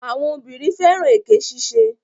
Àwọn obìnrin fẹ́ràn èké ṣiṣẹ́.